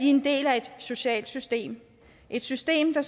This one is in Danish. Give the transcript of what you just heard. en del af et socialt system et system der